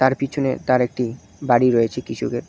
আর পিছনে তার একটি বাড়ি রয়েছে কৃষকের